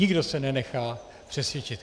Nikdo se nenechá přesvědčit.